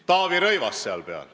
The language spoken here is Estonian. Taavi Rõivas on seal peal.